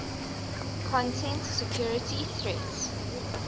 content security threats